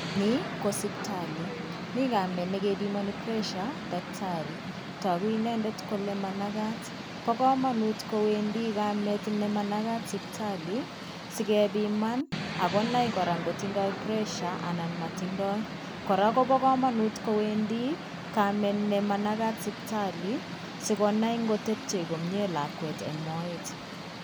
Ni ko siptalit. Mi kamet nekepimani pressure daktari. Togu inendet kole manakat. Bo komanut koendi kamet nemanakat siptali, sikepiman akonai kora nkotindoi pressure anan motindoi. Kora kobo komanut koendi kamet nemanakat siptali sikonai nkotepche lakwet komie eng' moet.